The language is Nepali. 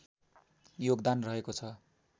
योगदान रहेको छ